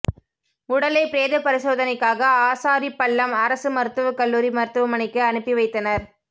உடலை பிரேத பரிசோதனைக்காக ஆசாரிபள்ளம் அரசு மருத்துவ கல்லூரி மருத்துவமனைக்கு அனுப்பி வைத்தனர்